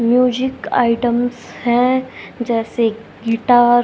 music items हैं जैसे guitar --